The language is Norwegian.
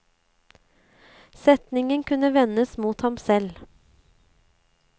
Setningen kunne vendes mot ham selv.